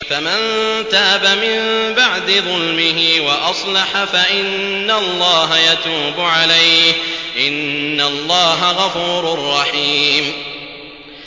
فَمَن تَابَ مِن بَعْدِ ظُلْمِهِ وَأَصْلَحَ فَإِنَّ اللَّهَ يَتُوبُ عَلَيْهِ ۗ إِنَّ اللَّهَ غَفُورٌ رَّحِيمٌ